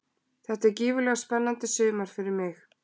Þetta er gífurlega spennandi sumar fyrir mig.